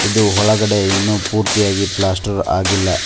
ಇದು ಒಳಗಡೆ ಇನ್ನು ಪೂರ್ತಿಯಾಗಿ ಪ್ಲಾಸ್ಟರ್ ಆಗಿಲ್ಲ.